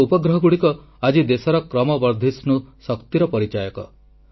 ଆମର ଉପଗ୍ରହ ଗୁଡ଼ିକ ଆଜି ଦେଶର କ୍ରମବର୍ଦ୍ଧିଷ୍ଣୁ ଶକ୍ତିର ପରିଚାୟକ